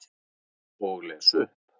Og les upp.